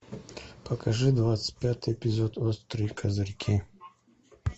покажи двадцать пятый эпизод острые козырьки